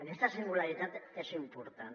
aquesta singularitat és important